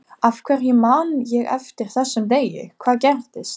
Af hverju man ég eftir þessum degi, hvað gerðist?